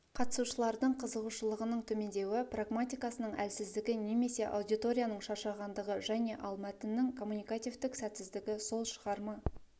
қатысушылардың қызығушылығының төмендеуі прагматикасының әлсіздігі немесе аудиторияның шаршағандығы және ал мәтіннің коммуникативтік сәтсіздігі сол шығарма